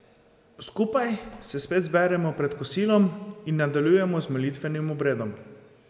Skupaj se spet zberemo pred kosilom in nadaljujemo z molitvenim obredom.